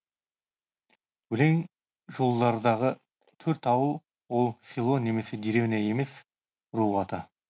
өлең жолдардағы төрт ауыл ол село немесе деревня емес ру аты